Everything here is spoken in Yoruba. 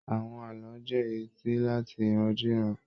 Àwọn ààlọ́ jẹ èyí tí láàti irandiran.